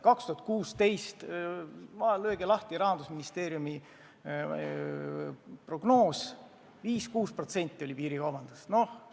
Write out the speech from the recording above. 2016. aastal oli – lööge lahti Rahandusministeeriumi lehekülg – piirikaubanduse osakaal 5–6%.